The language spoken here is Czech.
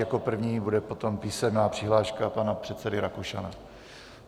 Jako první bude potom písemná přihláška pana předsedy Rakušana.